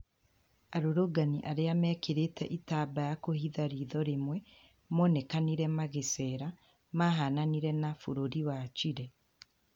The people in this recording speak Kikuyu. Arũrũngani arĩa mekĩrire itambaa kũhitha ritho rĩmwe monekanire magĩcera ,mahananire na bũrũri wa Chile